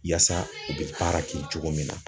Yaasa , u bɛ baara kɛ cogo min na.